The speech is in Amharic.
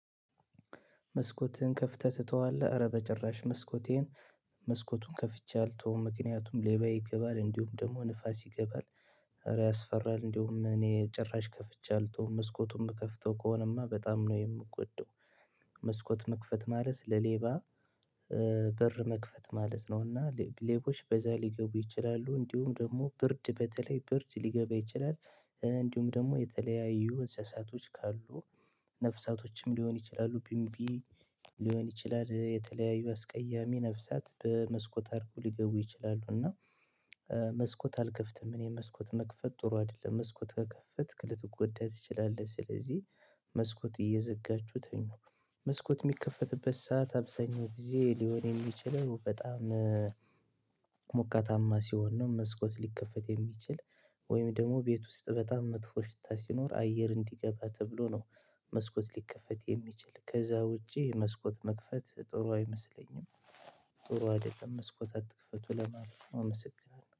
መስኮትህን ከፍተህ ትተዋለህ ኧረ በጭራሽ መስኮቴን መስኮቱን ከፍቼ አልተውም ምክንያቱም ሌባ ይገባል እንዲሁም ደግሞ ንፋስ ይገባል። ኧረ ያስፈራል እንዲሁም እኔ ጭራሽ ከፍቼ አልተውም መስኮቱም የምከፍተው ከሆነማ በጣም ነው የምጎዳው። መስኮት መክፈት ማለት ለሌባ በር መክፈት ማለት ነው። እና ሌቦች በዛ ሊገቡ ይችላሉ እንዲሁም ደግሞ ብርድ በተለይ ብርድ ሊገባ ይችላል። እንዲሁም ደግሞ የተለያዩ እንስሳቶች ካሉ ነፍሳቶችም ሊሆን ይችላሉ ቢምቢ ሊሆን ይችላል የተለያዩ አስቀያሚ ነፍሳት በመስኮት አድርገው ሊገቡ ይችላሉ እና። መስኮት አልከፍትም እኔ መስኮት መክፈት ጥሩ አይደለም። መስኮት ከከፈትክ ልትጎዳ ትችላለህ ስለዚህ መስኮት እየዘጋችሁ ተኙ። መስኮት እሚከፈትበት ሰዓት አብዛኛው ጊዜ ሊሆን የሚችለው በጣም ሞቃታማ ሲሆን ነው። መስኮት ሊከፈት የሚችል ወይም ደሞ ቤት ውስጥ በጣም መጥፎ ሽታ ሲኖር አየር እንዲገባ ተብሎ ነው። መስኮት ሊከፈት የሚችል ከዛ ውጪ መስኮት መክፈት ጥሩ አይመስለኝም። ጥሩ አይደለም መስኮት አትክፈቱ ለማለት ነው የምሰግናለሁ